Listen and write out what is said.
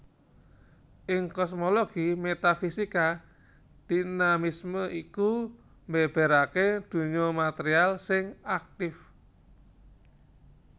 Ing kosmologi metafisika dinamisme iku mbèbèraké ndonya material sing aktif